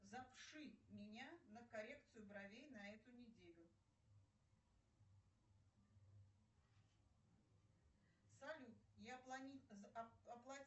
запиши меня на коррекцию бровей на эту неделю салют я